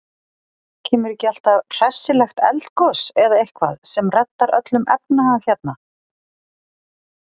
Kemur ekki alltaf hressilegt eldgos eða eitthvað sem reddar öllum efnahag hérna?